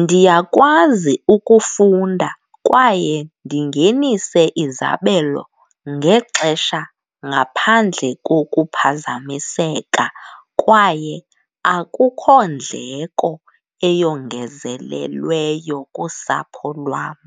Ndiyakwazi ukufunda kwaye ndingenise izabelo ngexesha ngaphandle kokuphazamiseka kwaye akukho ndleko eyongezelelweyo kusapho lwam.